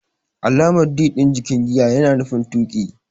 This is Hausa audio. Alamar "D" din jikin giya yana nufin tuki.